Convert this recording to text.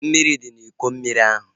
Mmiri dị n'Iko mmiri ahu